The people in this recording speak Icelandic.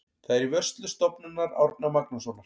Það er í vörslu Stofnunar Árna Magnússonar.